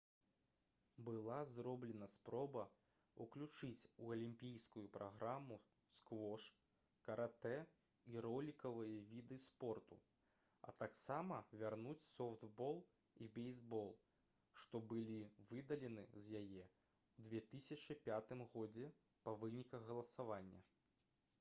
была зроблена спроба ўключыць у алімпійскую праграму сквош каратэ і ролікавыя віды спорту а таксама вярнуць софтбол і бейсбол што былі выдалены з яе ў 2005 годзе па выніках галасавання